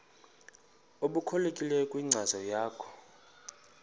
obuqhelekileyo kwinkcazo yakho